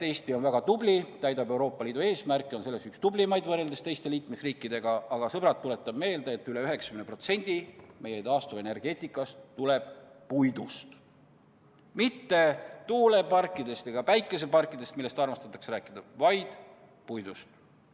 Eesti on väga tubli, täidab Euroopa Liidu eesmärke, on selles üks tublimaid võrreldes teiste liikmesriikidega, aga, sõbrad, tuletan meelde, et üle 90% meie taastuvenergiast tuleb puidust, mitte tuuleparkidest ega päikeseparkidest, millest armastatakse rääkida, vaid puidust.